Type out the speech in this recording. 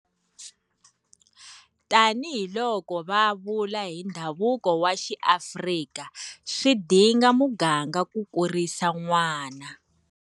Tanihiloko va vula hi ndhavuko wa XiAfrika Swi dinga muganga ku kurisa n'wana.